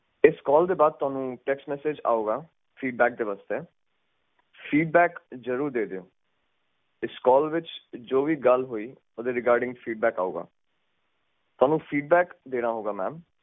ਹੋਰ ਮੇਰੀ ਕੰਪਲੇਂਟ ਨੂੰ ਨੋਟ ਕਰੋ ਪਲੀਸ